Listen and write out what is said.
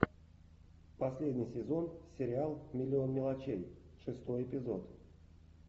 последний сезон сериал миллион мелочей шестой эпизод